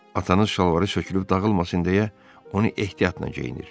Atanız şalvarı sökülüb dağılmasın deyə, onu ehtiyatla geyinir.